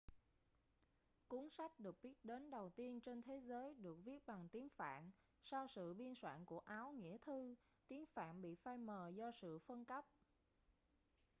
cuốn sách được biết đến đầu tiên trên thế giới được viết bằng tiếng phạn sau sự biên soạn của áo nghĩa thư tiếng phạn bị phai mờ do sự phân cấp